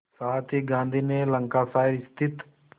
साथ ही गांधी ने लंकाशायर स्थित